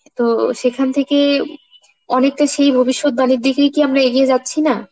তো সেখান থেকেই অনেকটা সেই ভবিষ্যৎ বাণীর দিকেই কি আমরা এগিয়ে যাচ্ছি না?